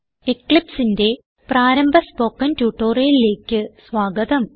Eclipseന്റെ പ്രാരംഭ സ്പോകെൻ ട്യൂട്ടോറിയലിലേക്ക് സ്വാഗതം